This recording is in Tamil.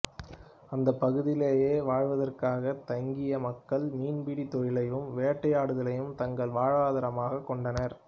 அந்தப் பகுதியிலேயே வாழ்வதற்காகத் தங்கிய மக்கள் மீன்பிடித் தொழிலையும் வேட்டையாடுதலையும் தங்கள் வாழ்வாதரமாகக் கொண்டனர்